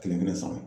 Kelen kelen sara